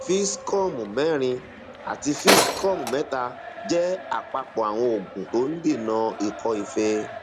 fixcom mẹrin àti fixcom mẹta jẹ àpapọ àwọn oògùn tó ń dènà ikọ fée